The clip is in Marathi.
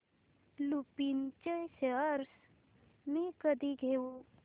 लुपिन चे शेअर्स मी कधी घेऊ